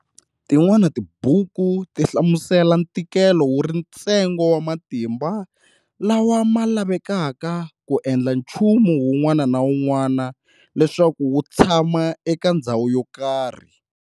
Tin'wana tibuku tihlamusela ntikelo wuri ntsengo wa matimba lawa ma lavekaka ku endla chumu wun'wana na wun'wana leswaku wu tshama eka ndzhawu yokarhi.